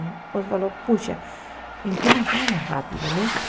Então ele falou, poxa, em que nós vamos rápido, né?